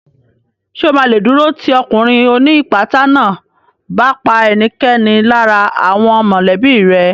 Ṣè o ma lè dúró tì ọkùnrin ó ní ìpátá náà bá pa ẹnikẹ́ni lára àwọn mọ̀lẹ́bí rẹ̀